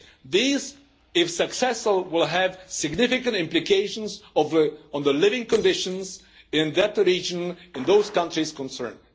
These, if successful, will have significant implications on the living conditions in that region, in those countries concerned.